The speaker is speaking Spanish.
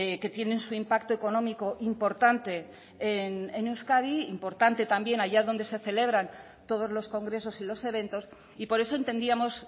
que tienen su impacto económico importante en euskadi importante también allá donde se celebran todos los congresos y los eventos y por eso entendíamos